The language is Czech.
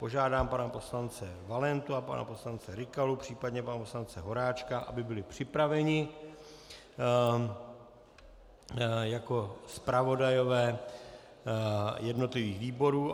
Požádám pana poslance Valentu a pana poslance Rykalu, případně pana poslance Horáčka, aby byli připraveni jako zpravodajové jednotlivých výborů.